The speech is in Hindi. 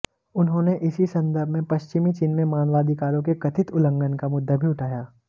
उन्होंने इसी संदर्भ में पश्चिीमी चीन में मानवाधिकारों के कथित उल्लंघन का मुद्दा भी उठाया